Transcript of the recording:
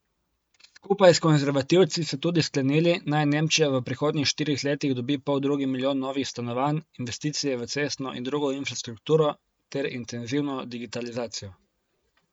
Skupaj s konservativci so tudi sklenili, naj Nemčija v prihodnjih štirih letih dobi poldrugi milijon novih stanovanj, investicije v cestno in drugo infrastrukturo ter intenzivno digitalizacijo.